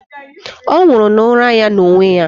Ọ nwụrụ n'ụra ya n'onwe ya.